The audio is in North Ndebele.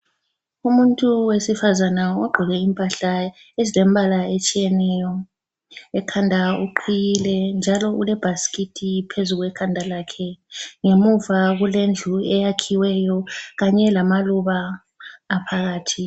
Umuntu wesifazana ogqoke impahla ezilembala etshiyeneyo, ekhanda uqhiyile njalo ulebhasikiti phezu kwekhanda lakhe ngemuva kulendlu eyakhiweyo kanye lamaluba aphakathi.